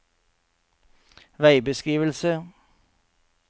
veibeskrivelse